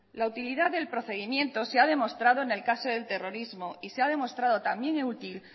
la utilidad del procedimiento se ha demostrado en el caso de terrorismo y se ha demostrado también útil